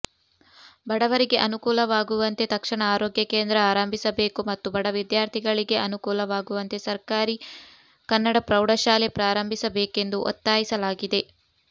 ಬಡವರಿಗೆ ಅನುಕೂಲವಾಗುವಂತೆ ತಕ್ಷಣ ಆರೋಗ್ಯ ಕೇಂದ್ರ ಆರಂಭಿಸಬೇಕು ಮತ್ತು ಬಡ ವಿದ್ಯಾರ್ಥಿಗಳಿಗೆ ಅನುಕೂಲವಾಗುವಂತೆ ಸರಕಾರಿ ಕನ್ನಡ ಪ್ರೌಢಶಾಲೆ ಪ್ರಾರಂಭಿಸಬೇಕೆಂದು ಒತ್ತಾಯಿಸಲಾಗಿದೆ